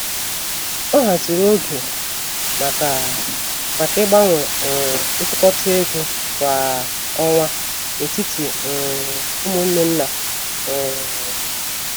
Ọ haziri oge maka maka ịgbanwe um ntụkọta égo kwa ọnwa n'etiti um umunne nna. um